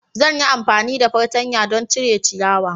Zan yi amfani da fartanya don cire ciyawa.